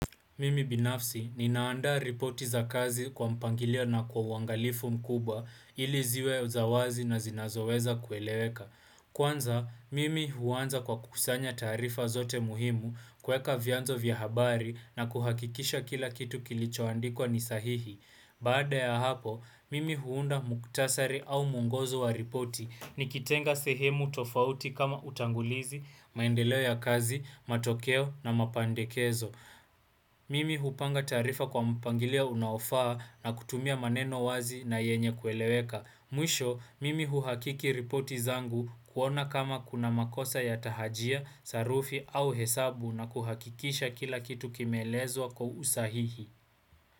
Mimi binafsi, ninaanda ripoti za kazi kwa mpangilio na kwa uwangalifu mkuba ili ziwe za uwazi na zinazoweza kueleweka. Kwanza, mimi huanza kwa kukusanya taarifa zote muhimu kuweka vyanzo vya habari na kuhakikisha kila kitu kilichoandikwa ni sahihi. Baada ya hapo, mimi huunda mukhtasari au mwongozo wa ripoti. Nikitenga sehemu tofauti kama utangulizi, maendeleo ya kazi, matokeo na mapendekezo. Mimi hupanga tarifa kwa mpangilio unaofaa na kutumia maneno wazi na yenye kueleweka. Mwisho, mimi huhakiki ripoti zangu kuona kama kuna makosa ya tahajia, sarufi au hesabu na kuhakikisha kila kitu kimeelezwa kwa usahihi.